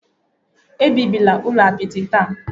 Ebibila ụlọ apịtị taa?